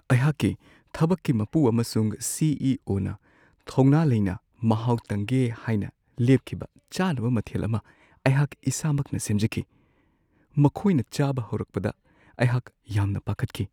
ꯑꯩꯍꯥꯛꯀꯤ ꯊꯕꯛꯀꯤ ꯃꯄꯨ ꯑꯃꯁꯨꯡ ꯁꯤ. ꯏ. ꯑꯣ. ꯅ ꯊꯧꯅꯥ ꯂꯩꯅ ꯃꯍꯥꯎ ꯇꯪꯒꯦ ꯍꯥꯏꯅ ꯂꯦꯞꯈꯤꯕ ꯆꯥꯅꯕ ꯃꯊꯦꯜ ꯑꯃ ꯑꯩꯍꯥꯛ ꯏꯁꯥꯃꯛꯅ ꯁꯦꯝꯖꯈꯤ ꯫ ꯃꯈꯣꯏꯅ ꯆꯥꯕ ꯍꯧꯔꯛꯄꯗ ꯑꯩꯍꯥꯛ ꯌꯥꯝꯅ ꯄꯥꯈꯠꯈꯤ ꯫